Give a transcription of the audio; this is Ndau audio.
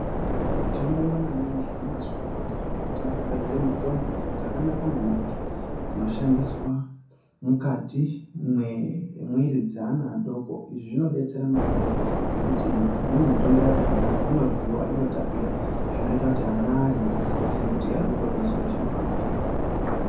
Tinobonga maningi anamazvikokota ngekuti akagadzire mitombo dzakanaka maningi dzinoshandiswa mukati mwemwiri dzeana adoko izvi zvinobetsera maningi ngekuti imweni mitombo yakona inoryiwa inotapira zvinoita kuti ana arye asingazivi kuti arikutorya chiro chinorapa.